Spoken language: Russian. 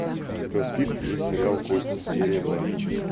у тебя в списке есть сериал кости серия два